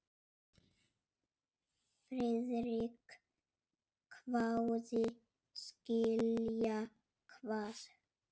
Friðrik hváði: Skilja hvað?